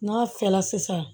N'a fɛla sisan